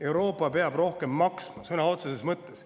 Euroopa peab rohkem maksma sõna otseses mõttes.